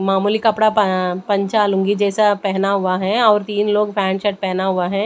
मामूली कपड़ा प पंचा लुंगी जैसा पहना हुआ है और तीन लोग पैंट शर्ट पहना हुआ हैं।